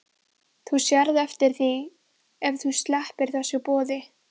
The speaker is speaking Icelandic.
Þú sérð eftir því ef þú sleppir þessu boði.